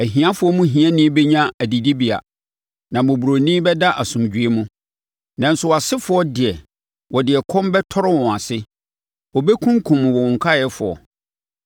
Ahiafoɔ mu hiani bɛnya adidibea, na mmɔborɔni bɛda asomdwoeɛ mu. Nanso wʼasefoɔ deɛ, mede ɛkɔm bɛtɔre wɔn ase; ɛbɛkunkum wo nkaeɛfoɔ.